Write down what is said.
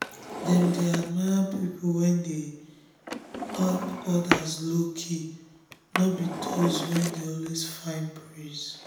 i first ask myself if the person values the person values match my own before i begin admire am.